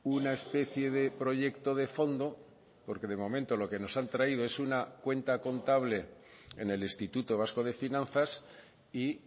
una especie de proyecto de fondo porque de momento lo que nos han traído es una cuenta contable en el instituto vasco de finanzas y